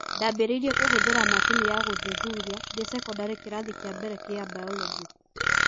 ndaambĩrĩirie kũhũthĩra macini ya gũthuthuria ndĩ sekondarĩ kĩrathi kĩa mbere gĩa Biology.